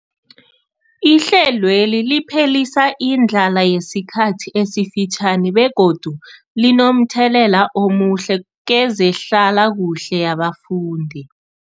Ihlelweli liphelisa indlala yesikhathi esifitjhani begodu linomthelela omuhle kezehlalakuhle yabafundi.